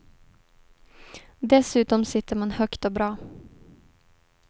Dessutom sitter man högt och bra.